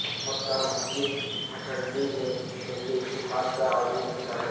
مکہ مسجد بٹھنڈی میں ملی اتحاد کا عظیم مظاہرہ